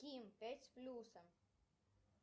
ким пять с плюсом